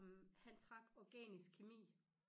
Ej men han trak organisk kemi